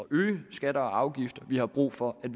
øge skatter og afgifter vi har brug for at